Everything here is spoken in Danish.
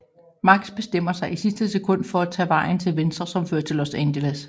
Max bestemmer sig i sidste sekund for at tage vejen til venstre som fører til Los Angeles